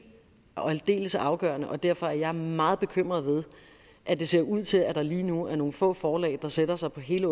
og aldeles afgørende og derfor er jeg meget bekymret ved at det ser ud til at der lige nu er nogle få forlag der sætter sig på hele